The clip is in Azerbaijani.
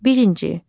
Birinci.